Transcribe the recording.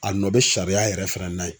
A nɔ bɛ sariya yɛrɛ fana n'a ye.